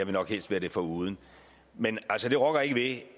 nok helst være det foruden men altså det rokker ikke ved